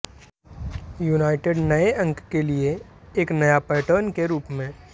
United नए अंक के लिए एक नया पैटर्न के रूप में